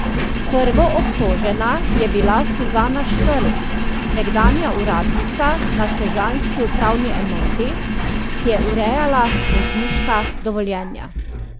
Prvoobtožena je bila Suzana Škrlj, nekdanja uradnica na sežanski upravni enoti, ki je urejala vozniška dovoljenja.